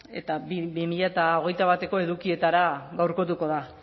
eta bi mila hogeita bateko edukietara gaurkotuko da